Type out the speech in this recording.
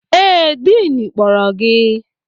Ee, diin kpọrọ gị